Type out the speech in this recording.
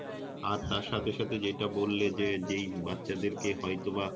আর তার সাথে সাথে যেটা বললে যে যেই বাচ্চাদের কে হয়তোবা